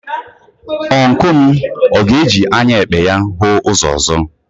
Ọncụl m ọ ga-eji anya ekpe ya hụ ụzọ ọzọ?